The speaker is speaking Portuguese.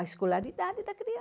A escolaridade da